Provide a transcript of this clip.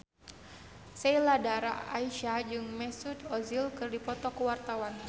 Sheila Dara Aisha jeung Mesut Ozil keur dipoto ku wartawan